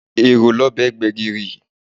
Èrò ni ọbẹ̀ gbẹ̀gìrì!